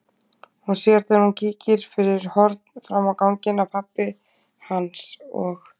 Hún sér þegar hún kíkir fyrir horn fram á ganginn að pabbi hans og